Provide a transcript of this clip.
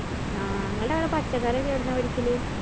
ആ ഇങ്ങള്‍ടെ അവടെ പച്ചക്കറിയൊക്കെ എവിടന്നാ മേടിക്കല്?